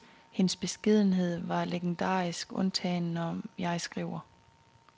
Hendes beskedenhed var legendarisk, undtagen, når jeg skriver.